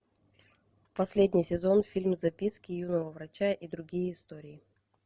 последний сезон фильма записки юного врача и другие истории